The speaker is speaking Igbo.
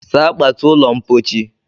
Saa kpatu ụlọ mpochi!